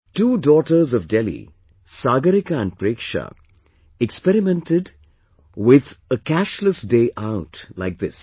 Two daughters of Delhi, Sagarika and Preksha, experimented with Cashless Day Outlike this